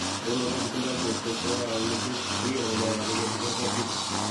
kounotok kitindoi cheurtos chekararan missing, pirik ago mayache kesich kabwatutik.